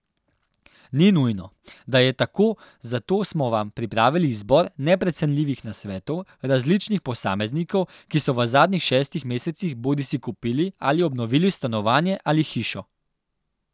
Ni nujno, da je tako, zato smo vam pripravili izbor neprecenljivih nasvetov različnih posameznikov, ki so v zadnjih šestih mesecih bodisi kupili ali obnovili stanovanje ali hišo.